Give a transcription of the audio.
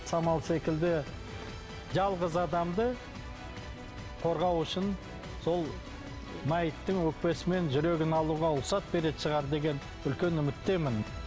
самал секілді жалғыз адамды қорғау үшін сол мәйіттің өкпесі мен жүрегін алуға рұқсат беретін шығар деген үлкен үміттемін